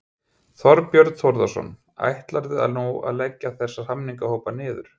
Þorbjörn Þórðarson: Ætlarðu að leggja þessa samningahópa niður?